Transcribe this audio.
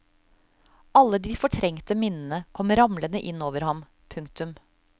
Alle de fortrengte minnene kom ramlende inn over han. punktum